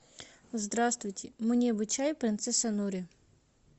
здравствуйте мне бы чай принцесса нури